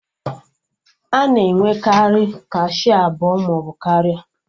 A na-enwekarị kashịa abụọ maọbụ karịa